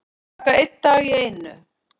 Taka einn dag í einu